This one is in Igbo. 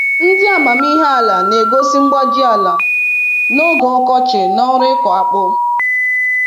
Ndị amamihe ala na-egosi mgbaji ala n'oge ọkọchị n'ọrụ ịkụ akpu